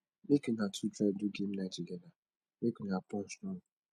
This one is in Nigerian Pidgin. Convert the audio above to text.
mek una two try do game night togeda mek una bond strong